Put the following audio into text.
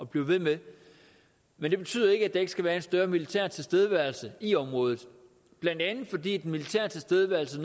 bliver ved med men det betyder ikke at der ikke skal være en større militær tilstedeværelse i området blandt andet fordi den militære tilstedeværelse